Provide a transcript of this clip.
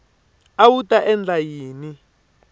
a wu ta endla yini